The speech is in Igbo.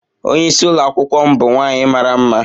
Onye isi Ụlọ akwụkwọ m bụ nwaanyị mara mma.